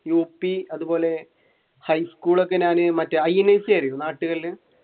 U P അതുപോലെ high school ഒക്കെ ഞാൻ മറ്റേ